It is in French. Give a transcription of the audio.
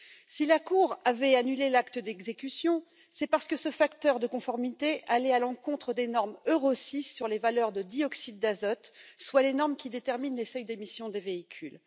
Si la Cour avait annulé l'acte d'exécution, c'est parce que ce facteur de conformité allait à l'encontre des normes Euro VI sur les valeurs de dioxyde d'azote, soit les normes qui déterminent les seuils d'émissions des véhicules.